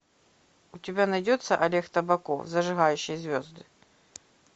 у тебя найдется олег табаков зажигающий звезды